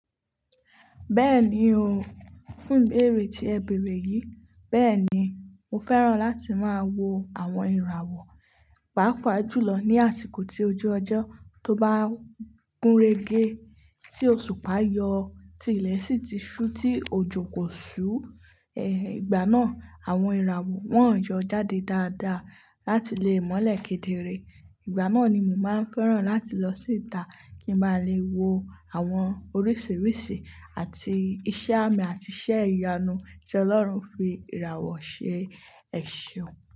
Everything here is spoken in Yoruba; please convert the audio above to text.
Bẹ́ẹ̀ni o. Fún ìbéèrè tí ẹ bèerè yìí, bẹ́ẹ̀ni mo fẹ́ràn láti máa wo àwọn ìràwọ̀, pàápàá jùlọ ní àsìkò tí ojú ọjọ́ tó bá gúnrégé, tí òṣùpá yọ, tí ilẹ̀ sì ti ṣú, tí òjò kò ṣú. Igbà náà àwọn ìràwọ̀ wọn yọ jáde dáadáa láti le mọ́lẹ̀ kedere. Ìgbà náà ni mo máa ń fẹ́ràn láti lọ sí ita kí n bá lè wo àwọn oríṣìíríṣìí àti iṣẹ́ àmì àti iṣẹ́ ìyanu tí Ọlọ́run fi ìràwọ̀ ṣe. Ẹ̀ṣeun.